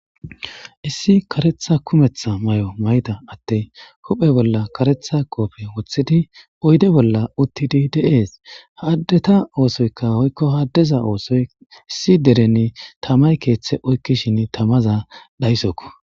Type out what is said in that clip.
Issi karetha kumetha may'o mayda atte huphe bolla karetha qoofe woththidi oyde bolla uttidi deees haddeta oosoyka hoykko haddeza oosoy issi dereni tamay keeththe oykkishin tamaza dayssokko.